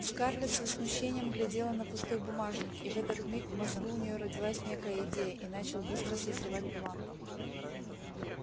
скарлетт с возмущением глядела на пустой бумажник и в этот миг в мозгу у нее родилась некая идея и начал быстро созревать план